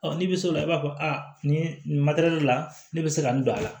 n'i bɛ s'o la i b'a fɔ a nin nin de la ne bɛ se ka nin don a la